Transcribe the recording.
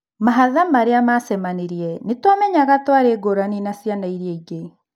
Mahatha marĩa macemanirie: ' Nĩtuamenyaga tũari ngũrani naciana iria ingĩ'